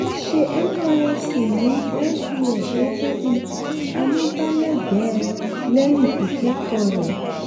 ó ṣe nysc ní lbs gẹ́gẹ́ bí amúgbálẹ́gbẹ̀ẹ́ lẹ́yìn ìkẹ́kọ̀ọ́ rẹ̀.